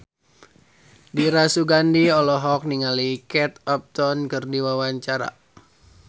Dira Sugandi olohok ningali Kate Upton keur diwawancara